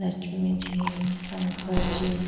Lakshmi ji Shankar ji --